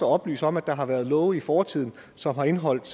at oplyse om at der har været love i fortiden som har indeholdt